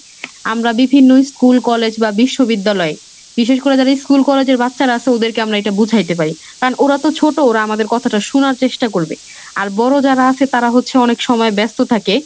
আমরা বিভিন্ন school, college বা বিশ্ববিদ্যালয়ে বিশেষ করে যারা school college এর বাচ্ছারা ওদেরকে আমরা এটা বোঝাইতে পারি। কারণ ওরা তো ছোটো ওরা আমাদের কথাটা শুনার চেষ্টা করবে আর বড়ো যারা আছে তারা হচ্ছে অনেক সময় ব্যস্ত থাকে।